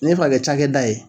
N'i bi fɛ ka kɛ cakɛ da ye.